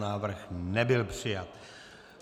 Návrh nebyl přijat.